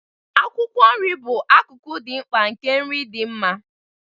Akwụkwọ nri bụ akụkụ dị mkpa nke nri dị mma.